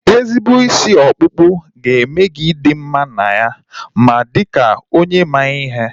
Ezigbo isi ọkpụkpụ ga-eme gị ị dị mma n'anya ma dịkwa ka onye ma ihe